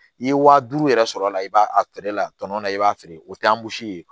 I ye wa duuru yɛrɛ sɔrɔ a la i b'a a feere la tɔnɔ la i b'a feere o tɛ ye